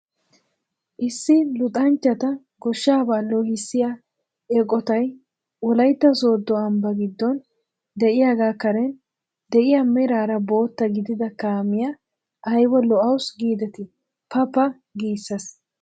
Issi luxanchchata goshshaabaa loohissiyaa eqotay wolaytta sooddo ambaa giddon de'iyaagaa karen de'iyaa meraara bootta gidida kaamiyaa ayba lo'awus gideti! pa pa giisees.